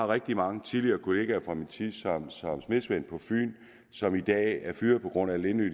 rigtig mange tidligere kollegaer fra min tid som smedesvend på fyn som i dag er fyret på grund af at lindø